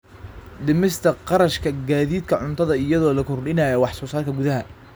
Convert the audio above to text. Dhimista kharashka gaadiidka cuntada iyadoo la kordhinayo wax soo saarka gudaha.